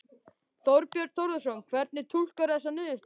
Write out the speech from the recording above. Þorbjörn Þórðarson: Hvernig túlkarðu þessar niðurstöður?